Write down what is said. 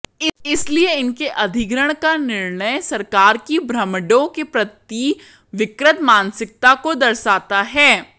इसलिए इनके अधिग्रहण का निर्णय सरकार की ब्राह्मणों के प्रति विकृत मानसिकता को दरसाता है